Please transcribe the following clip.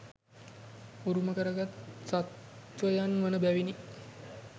උරුම කරගත් සත්ත්වයන් වන බැවිනි.